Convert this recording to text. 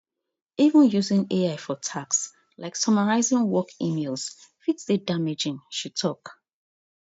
even using ai for tasks like summarising work emails fit dey damaging she tok